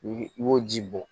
I i b'o ji bɔ